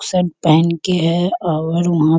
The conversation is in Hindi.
शर्ट पहन के हैं और वहां --